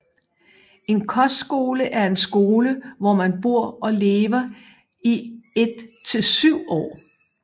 En kostskole er en skole hvor man bor og lever i et til syv år